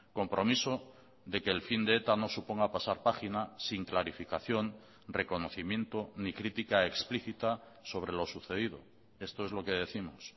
compromiso de que el fin de eta no suponga pasar página sin clarificación reconocimiento ni crítica explicita sobre lo sucedido esto es lo que décimos